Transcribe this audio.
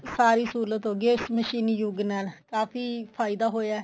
ਸਾਰੀ ਸਹੁਲਤ ਹੋ ਗਈ ਹੈ ਇਸ ਮਸ਼ੀਨੀ ਯੁੱਗ ਦੇ ਨਾਲ ਕਾਫੀ ਫਾਇਦਾ ਹੋਇਆ